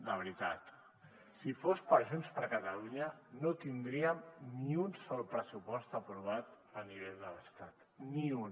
de veritat si fos per junts per catalunya no tindríem ni un sol pressupost aprovat a nivell de l’estat ni un